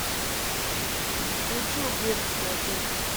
включи убежище агента